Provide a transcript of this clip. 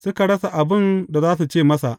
Suka rasa abin da za su ce masa.